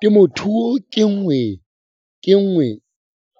Temothuo ke nngwe